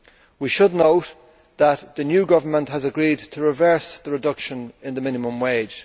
We should note that the new government has agreed to reverse the reduction in the minimum wage.